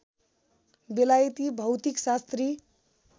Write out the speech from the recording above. बेलायती भौतिकशास्त्री